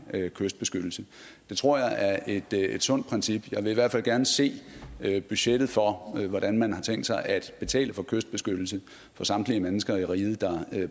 kystbeskyttelse det tror jeg er et sundt princip jeg vil i hvert fald gerne se budgettet for hvordan man har tænkt sig at betale for kystbeskyttelse for samtlige mennesker i riget der